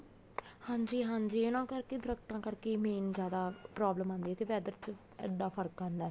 ਹਾਂਜੀ ਹਾਂਜੀ ਉਹਨਾ ਕਰਕੇ ਦਰਖਤਾਂ ਕਰਕੇ main ਜਿਆਦਾ problem ਆਉਂਦੀ ਹੈ ਤੇ weather ਚ ਇੱਦਾਂ ਫਰਕ ਆਉਂਦਾ